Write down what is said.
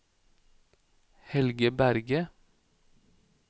Helge Berge